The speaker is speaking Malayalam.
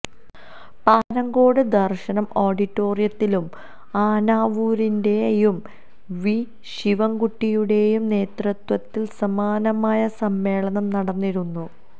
പാപ്പനംകോട് ദർശന ഓഡിറ്റോറിത്തിലും ആനാവൂരിന്റെയും വി ശിവൻകുട്ടിയുടേയും നേതൃത്വത്തിൽ സമാനമായ സമ്മേളനം നടന്നിരുന്നു